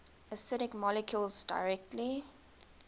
acidic molecules directly